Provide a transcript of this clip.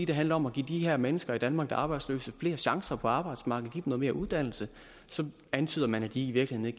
det handler om at give de her mennesker i danmark der er arbejdsløse flere chancer på arbejdsmarkedet give dem noget mere uddannelse så antyder man at de i virkeligheden